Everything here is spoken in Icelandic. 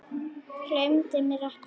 Gleymir mér ekki.